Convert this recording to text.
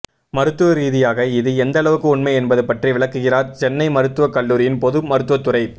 மருத்துவ ரீதியாக இது எந்தளவுக்கு உண்மை என்பது பற்றி விளக்குகிறார் சென்னை மருத்துவக் கல்லூரியின் பொது மருத்துவத்துறைப்